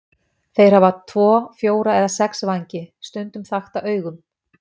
Þeir hafa tvo, fjóra eða sex vængi, stundum þakta augum.